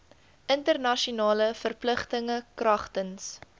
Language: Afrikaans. internasionale verpligtinge kragtens